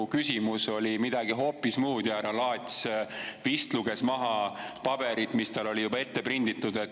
Mu küsimus oli midagi hoopis muud ja härra Laats vist luges maha paberilt, mis tal oli juba ette prinditud.